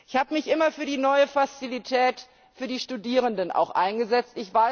Ich habe mich immer auch für die neue Fazilität für die Studierenden eingesetzt.